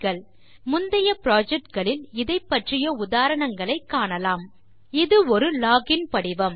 ஏனெனில் முந்தைய projectகளில் இதைப் பற்றிய உதாரணங்களை காணலாம் இது ஒரு லோகின் படிவம்